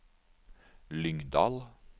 Lyngdal